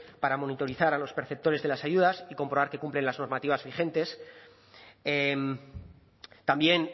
para monitorizar a los perceptores de las ayudas y comprobar que cumplen las normativas vigentes también